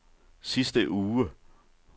sidste uge